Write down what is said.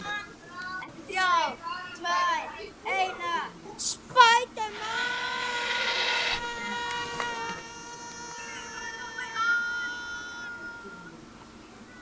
Takk fyrir allt, amma.